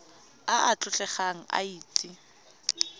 a a tlotlegang a itse